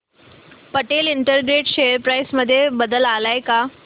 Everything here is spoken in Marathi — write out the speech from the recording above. पटेल इंटरग्रेट शेअर प्राइस मध्ये बदल आलाय का